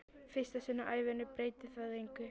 Í fyrsta sinn á ævinni breytir það engu.